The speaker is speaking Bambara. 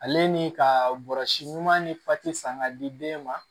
Ale ni ka bɔrɔsi ɲuman ni fati san ka di den ma